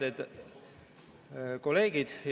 Head kolleegid!